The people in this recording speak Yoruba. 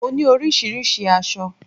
Mo ní oríṣiríṣi aṣọ